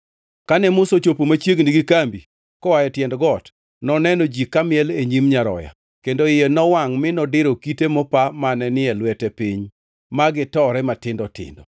Kane Musa ochopo machiegni gi kambi koa e tiend got noneno ji kamiel e nyim nyaroya, kendo iye nowangʼ mi nodiro kite mopa mane ni e lwete piny ma gitore matindo tindo.